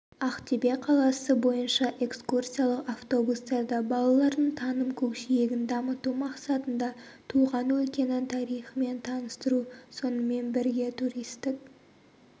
ақтөбе қаласы бойынша экскурсиялық автобустарда балалардың таным-көкжиегін дамыту мақсатында туған өлкенің тарихымен таныстыру сонымен бірге туристік